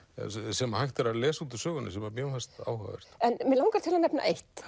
sem hægt er að lesa út úr sögunni sem mér fannst áhugavert en mig langar til að nefna eitt